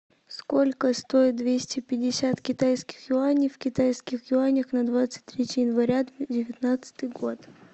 сколько стоит двести пятьдесят китайских юаней в китайских юанях на двадцать третье января девятнадцатый год